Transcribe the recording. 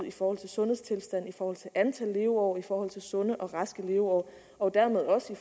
i forhold til sundhedstilstanden i forhold til antal leveår i forhold til sunde og raske leveår og dermed også i